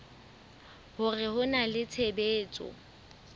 hore ho na le tshebetso